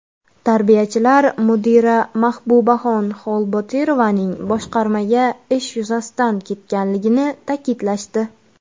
Tarbiyachilar mudira Mahbubaxon Xolbotirovaning boshqarmaga ish yuzasidan ketganligini ta’kidlashdi.